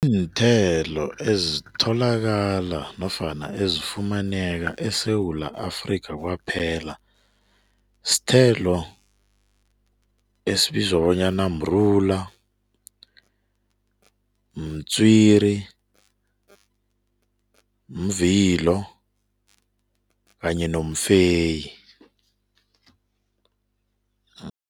Iimthelo ezitholakala nofana ezifumaneka eSewula Afrika kwaphela, isithelo esibizwa bonyana mrula, mtswiri, mvilo kanye nomfeyi.